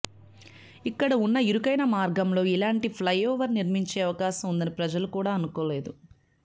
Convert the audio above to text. ఇక్కడ ఉన్న ఇరుకైన మార్గంలో ఇలాంటి ఫ్లై ఓవర్ నిర్మించే అవకాశం ఉందని ప్రజలు కూడా అనుకోలేదు